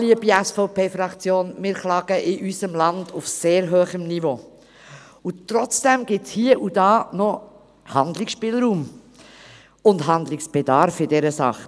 Liebe SVP-Fraktion, wir klagen in unserem Land auf sehr hohem Niveau, und trotzdem gibt es hie und da noch Handlungsspielraum und Handlungsbedarf in dieser Sache.